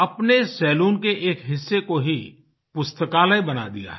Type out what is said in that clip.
अपने सलून के एक हिस्से को ही पुस्तकालय बना दिया है